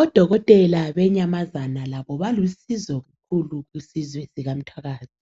Odokotela benyamazane labo balusizo kakhulu kusizwe sikamthwakazi.